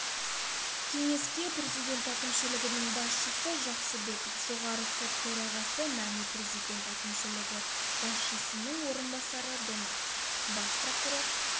кеңеске президент әкімшілігінің басшысы жақсыбеков жоғарғы сот төрағасы мәми президент әкімшілігі басшысының орынбасары донақов бас прокурор